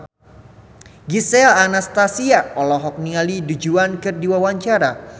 Gisel Anastasia olohok ningali Du Juan keur diwawancara